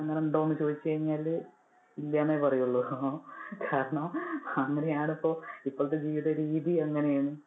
ഉണ്ടോ എന്ന് ചോദിച്ചു കഴിഞ്ഞാൽ, ഇല്ല എന്നെ പറയുള്ളു. കാരണം അങ്ങനെ ആണ് ഇപ്പോൾ ഇപ്പോഴത്തെ ജീവിത രീതി അങ്ങനെ ആണ്.